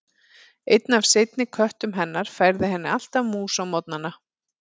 Einn af seinni köttum hennar færði henni alltaf mús á morgnana.